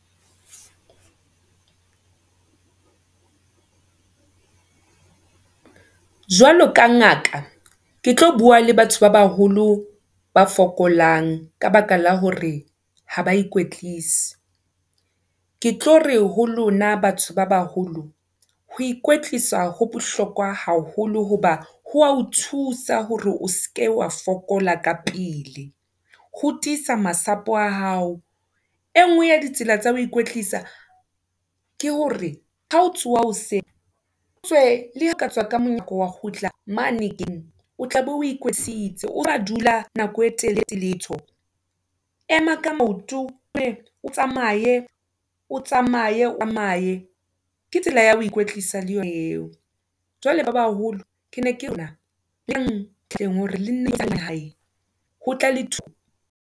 Jwalo ka ngaka, ke tlo bua le batho ba baholo, ba fokolang, ka baka la hore ha ba ikwetlise, ke tlo re ho lona batho ba baholo, ho ikwetlisa ho bohlokwa haholo, hoba ho thusa hore o seke oa fokola ka pele, ho tiisa masapo a hao. E ngwe ya ditsela tsa ho ikwetlisa, ke hore ha o tsoha hoseng, otswe, le ha o katswa ka monyako wa kgutla mane hekeng, o tlabe o ikwetlisitse, o seke wa dula nako e telele o sa etse letho. Ema ka maoto, otlohe, o tsamaye o tsamaye o tsamaye ke tsela ya ho ikwetlisa le yo eo. Jwale ba ba haholo, ke ne kena eleng hore le nna tsa hae ho tla le